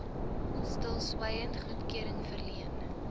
stilswyend goedkeuring verleen